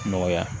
Nɔgɔya